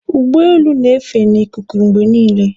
Ụgbọelu na-efe n'ikuku mgbe niile.